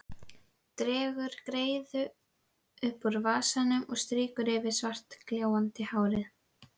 Dregur greiðu upp úr vasanum og strýkur yfir svartgljáandi hárið.